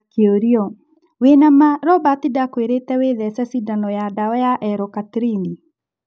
Akĩũrio: "Wĩna maa Robert Ndakwĩrĩte wĩthece Cindano ya ndawa ya L- Cartrine?"